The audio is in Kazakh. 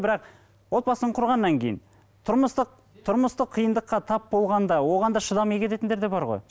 бірақ отбасын құрғаннан кейін тұрмыстық тұрмыстық қиындыққа тап болғанда оған да шыдамай кететіндер де бар ғой